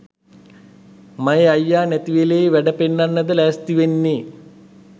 මයේ අයියා නැතිවෙලේ වැඩ පෙන්නන්නද ලැස්තිවෙන්නේ